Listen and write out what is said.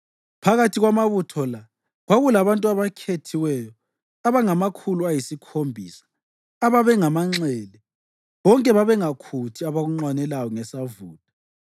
Phakathi kwamabutho la kwakulabantu abakhethiweyo abangamakhulu ayisikhombisa ababengamanxele, bonke bengakhuthi abakunxwaneleyo ngesavutha.